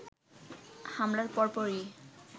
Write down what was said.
হামলার পরপরই